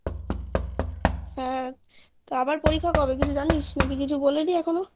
হ্যাঁ তো আবার পরীক্ষা কবে কিছু জানিস না কিছু বলেনি এখনো